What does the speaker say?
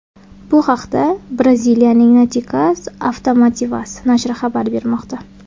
Bu haqda Braziliyaning Noticias Automotivas nashri xabar bermoqda.